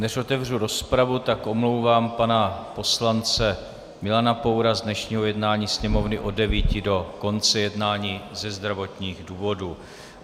Než otevřu rozpravu, tak omlouvám pana poslance Milana Poura z dnešního jednání Sněmovny od 9.00 do konce jednání ze zdravotních důvodů.